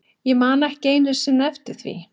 Ég man ekki einu sinni eftir því.